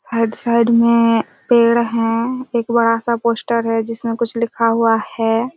आइड side में पेड़ हैं एक बड़ा सा पोस्टर हैं जिसमे कुछ लिखा हुआ हैं।